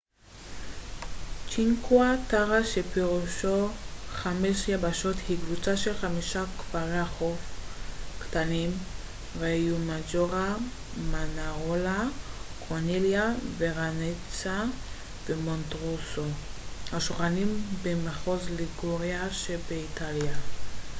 צ'ינקווה טרה שפירושו חמש יבשות היא קבוצה של חמישה כפרי החוף קטנים ריומג'ורה מאנארולה קורניליה ורנאצה ומונטרוסו השוכנים במחוז ליגוריה שבאיטליה